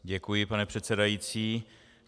Děkuji, pane předsedající.